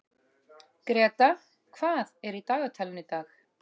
Greta, hvað er í dagatalinu í dag?